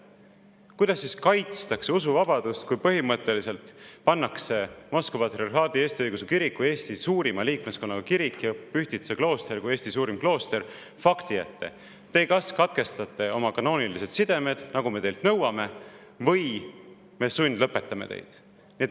Kuidas siis kaitstakse usuvabadust, kui põhimõtteliselt pannakse Moskva Patriarhaadi Eesti Õigeusu Kirik, Eesti suurima liikmeskonnaga kirik, ja Pühtitsa klooster, Eesti suurim klooster, fakti ette: te kas katkestate oma kanoonilised sidemed, nagu me teilt nõuame, või me sundlõpetame teid?